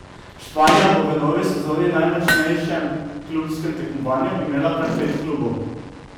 Španija bo v novi sezoni v najmočnejšem klubskem tekmovanju imela kar pet klubov.